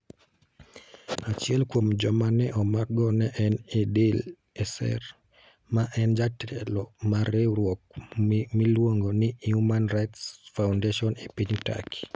Achiel kuom joma ne omakgo ne en Idil Eser, ma en jatelo mar riwruok miluongo ni Human Rights Foundation e piny Turkey.